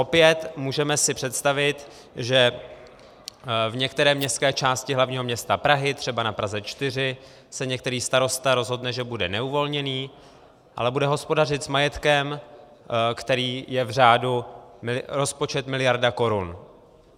Opět, můžeme si představit, že v některé městské části hlavního města Prahy, třeba na Praze 4, se některý starosta rozhodne, že bude neuvolněný, ale bude hospodařit s majetkem, který je v řádu - rozpočet miliarda korun.